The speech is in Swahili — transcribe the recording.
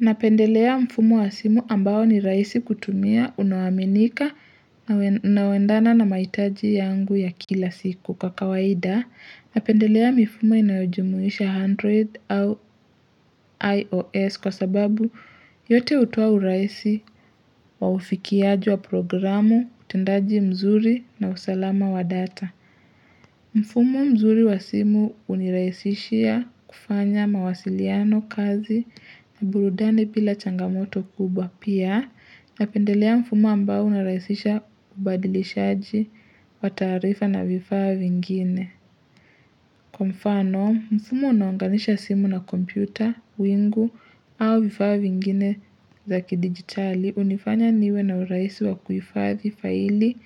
Napendelea mfumo wa simu ambao ni rahisi kutumia unaoaminika na waendana na mahitaji yangu ya kila siku kwa kawaida. Napendelea mifumo inayojumuisha Android au IOS kwa sababu yote hutoa urahisi wa ufikiaji wa programu, utendaji mzuri na usalama wa data. Mfumo mzuri wa simu unirahisishia kufanya mawasiliano kazi na burudani bila changamoto kubwa pia na pendelea mfumo ambao unirahisisha kubadilishaji wa taarifa na vifaa vingine. Kwa mfano, mfumo unaoungalisha simu na kompyuta, wingu au vifaa vingine zaki digitali, hunifanya niwe na urahisi wa kuifadhi faili,